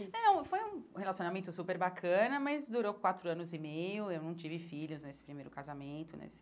É, foi um relacionamento super bacana, mas durou quatro anos e meio, eu não tive filhos nesse primeiro casamento, nesse...